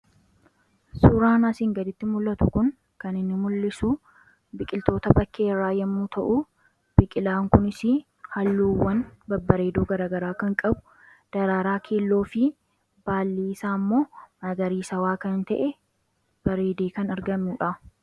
Suuraan asiin gaditti mul'atu kun kan inni mul'isu biqiltoota bakkeerraa yommuu ta'uu biqilaan kunis halluuwwan babbareedoo garagaraa kan qabu. Dararaa keelloo fi baalli isaa ammoo magariisawaa kan ta'e bareedee kan argamuudha.